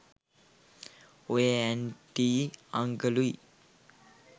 ඔය ඇන්ටියි අන්කලුයි